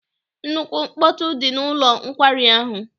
Nnukwu mkpọtụ dị n'ụlọ nkwari ahụ.